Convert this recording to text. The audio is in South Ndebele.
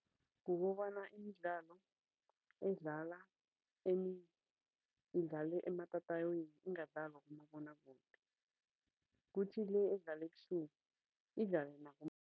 Kukobana imidlalo edlala idlala ematatawini, ingadlalwa kumabonwakude. Kuthi le edlalwa ebusuku, idlale